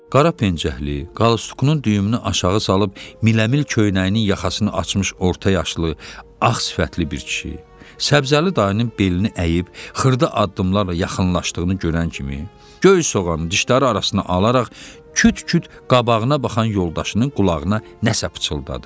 Qara pencəkli, qalstukunun düyümünü aşağı salıb miləmil köynəyinin yaxasını açmış orta yaşlı ağ sifətli bir kişi, səbzəli dayının belini əyib xırda addımlarla yaxınlaşdığını görən kimi göy soğan dişləri arasına alaraq küt-küt qabağına baxan yoldaşının qulağına nəsə pıçıldadı.